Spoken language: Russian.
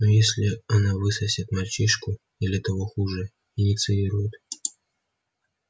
но если она высосет мальчишку или того хуже инициирует